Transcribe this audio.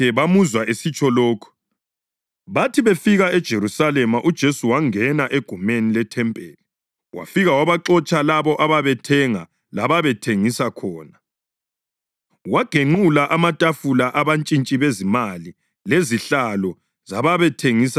Bathi befika eJerusalema uJesu wangena egumeni lethempeli wafika wabaxotsha labo ababethenga lababethengisa khona. Wagenqula amatafula abantshintshi bezimali lezihlalo zababethengisa amajuba,